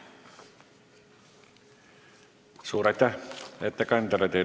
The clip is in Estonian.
Suur aitäh ettekandjale!